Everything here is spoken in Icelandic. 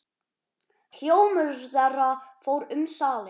Hljómur þeirra fór um salinn.